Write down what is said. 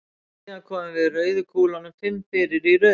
Síðan komum við rauðu kúlunum fimm fyrir í röðinni.